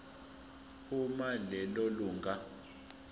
uma lelo lunga